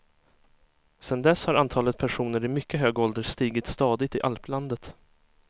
Sedan dess har antalet personer i mycket hög ålder stigit stadigt i alplandet.